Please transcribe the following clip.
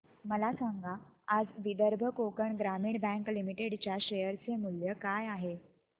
मला सांगा आज विदर्भ कोकण ग्रामीण बँक लिमिटेड च्या शेअर चे मूल्य काय आहे